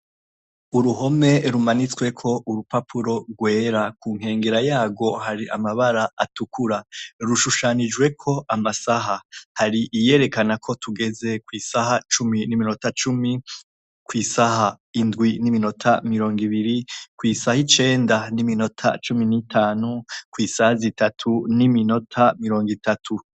Uruhome rumanitsweko urupapuro rwera, ku nkengera yarwo hari amabara atukura. Rushushanijweko amasaha. Hari iyerakana ko tugeze kw'isaha n'iminota cumi, kw'isaha indwi n'iminota mirongo ibiri, kw'isaha icenda n'iminota cumi n'itanu, kw'isaha zitatu n'iminota mirongo itatu.